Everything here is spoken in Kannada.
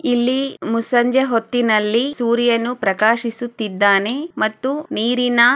ಇಲ್ಲಿ ಮುಸಂಜೆ ಒತ್ತಿನಲಿ ಸೂರ್ಯನು ಪ್ರಾಕ್ಷಿಸುತಿದ್ದಾನೆ ಮತ್ತು ನೀರಿನ_